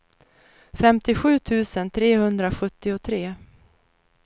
femtiosju tusen trehundrasjuttiotre